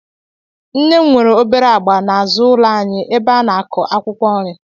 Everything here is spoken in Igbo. Nne m nwere obere ọgba n'azụ ụlọ anyị ebe ị na-akụ akwụkwọ nri